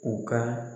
U ka